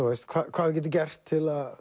hvað við getum gert til að